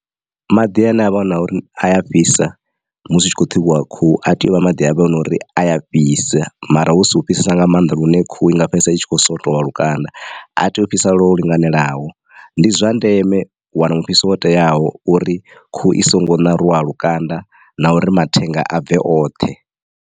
Maḓi ane avha a na uri a ya fhisa musi hu tshi kho ṱhuvhiwa khuhu a tea u vha maḓi ane avha hu nori a ya fhisa mara hu si u fhisesa nga maanḓa lune khuhu i nga fhedzisela itshi kho swotowa lukanda a tea u fhisa lwo linganelaho ndi zwa ndeme u wana mufhiso wo teaho uri khuhu i songo ṋaruwa lukanda na uri mathenga a bve oṱhe.